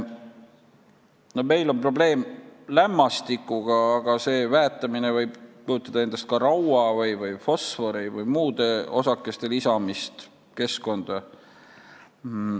Meil on probleem lämmastikuga, aga see väetamine võib kujutada endast ka raua või fosfori või muude osakeste lisamist keskkonda.